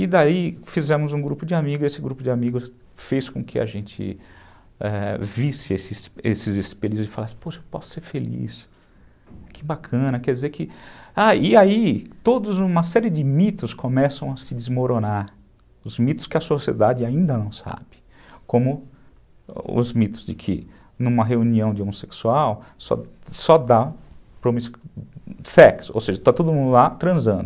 E daí fizemos um grupo de amigos, e esse grupo de amigos fez com que a gente, ãh, visse esses esses espíritos e falasse, poxa, eu posso ser feliz, que bacana, quer dizer que... Ah, e aí, todos, uma série de mitos começam a se desmoronar, os mitos que a sociedade ainda não sabe, como os mitos de que numa reunião de homossexual só dá sexo, ou seja, está todo mundo lá transando.